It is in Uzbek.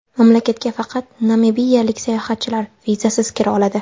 Mamlakatga faqat namibiyalik sayohatchilar vizasiz kira oladi.